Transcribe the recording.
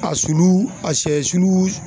A sulu a sɛ sulu